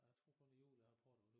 Jeg tror kun det jul jeg har prøvet